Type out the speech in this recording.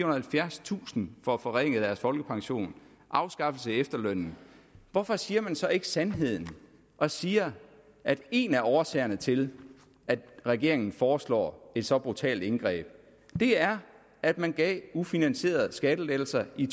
halvfjerdstusind får forringet deres folkepension og afskaffelse af efterlønnen hvorfor siger man så ikke sandheden og siger at en af årsagerne til at regeringen foreslår et så brutalt indgreb er at man gav ufinansierede skattelettelser i